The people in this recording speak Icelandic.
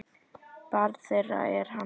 Barn þeirra er Hanna Sólrún.